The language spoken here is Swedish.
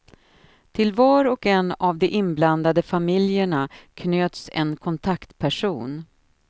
Till var och en av de inblandade familjerna knöts en kontaktperson.